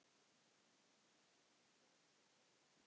Enda er Sólrún lofuð manni.